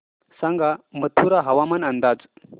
सांगा मथुरा हवामान अंदाज